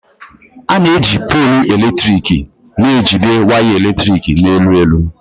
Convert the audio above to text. A na-eji póolu eletrik na-ejide waya eletrik na elu elu.